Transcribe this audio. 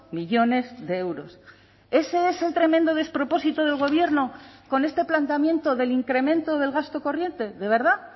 millónes de euros ese es el tremendo despropósito del gobierno con este planteamiento del incremento del gasto corriente de verdad